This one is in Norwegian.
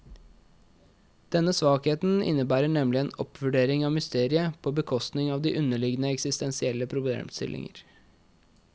Denne svakheten innebærer nemlig en oppvurdering av mysteriet på bekostning av de underliggende eksistensielle problemstillinger.